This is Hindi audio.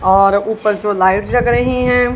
और ऊपर जो लाइट जग रही हैं।